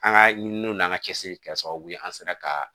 An ka ɲininiw n'an ka cɛsiri kɛra sababu ye an sera ka